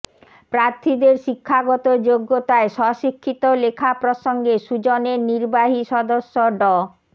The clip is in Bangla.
প্রার্থীদের শিক্ষাগত যোগ্যতায় স্বশিক্ষিত লেখা প্রসঙ্গে সুজনের নির্বাহী সদস্য ড